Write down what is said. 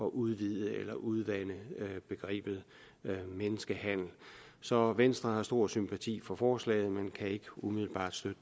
at udvide eller udvande begrebet menneskehandel så venstre har stor sympati for forslaget men kan ikke umiddelbart støtte